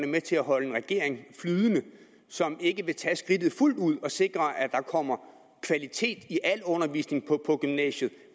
er med til at holde en regering flydende som ikke vil tage skridtet fuldt ud og sikre at der kommer kvalitet i al undervisning på gymnasiet